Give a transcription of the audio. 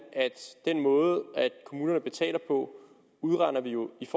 at den måde kommunerne betaler på udregner vi jo i